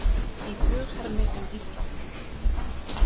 Í flughermi um Ísland